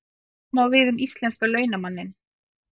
Sama á við um íslenska launamanninn.